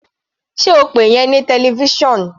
Sé o pe ìyẹn ní television?